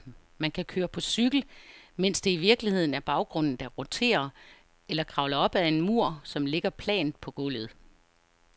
Man kan køre på cykel, mens det i virkeligheden er baggrunden, der roterer, eller kravle op ad en mur, som ligger plant på gulvet.